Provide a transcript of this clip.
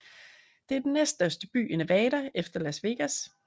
Det er den næststørste by i Nevada efter Las Vegas